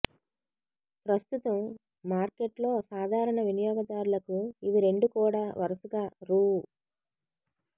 ప్రస్తుతం మార్కెట్లో సాధారణ వినియోగదారులకు ఇవి రెండు కూడా వరుసగా రూ